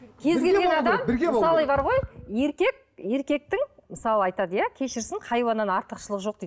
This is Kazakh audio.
кез келген адам мысалы бар ғой еркек еркектің мысалы айтады иә кешірсін хайуаннан артықшылығы жоқ дейді